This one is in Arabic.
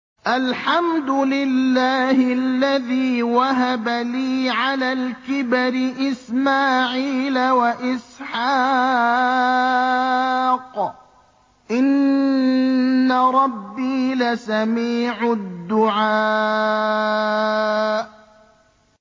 الْحَمْدُ لِلَّهِ الَّذِي وَهَبَ لِي عَلَى الْكِبَرِ إِسْمَاعِيلَ وَإِسْحَاقَ ۚ إِنَّ رَبِّي لَسَمِيعُ الدُّعَاءِ